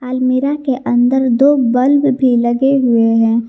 अलमीरा के अंदर दो बल्ब भी लगे हुए हैं।